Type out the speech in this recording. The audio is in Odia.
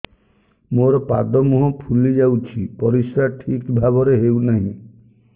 ମୋର ପାଦ ମୁହଁ ଫୁଲି ଯାଉଛି ପରିସ୍ରା ଠିକ୍ ଭାବରେ ହେଉନାହିଁ